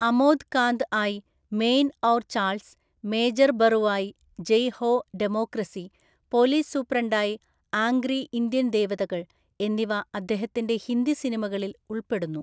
അമോദ് കാന്ത് ആയി Main Aur Charles, major ബറുവായി Jai Ho democracy, police സൂപ്രണ്ടായി ആംഗ്രി ഇന്ത്യൻ ദേവതകൾ എന്നിവ അദ്ദേഹത്തിന്റെ ഹിന്ദി സിനിമകളിൽ ഉൾപ്പെടുന്നു.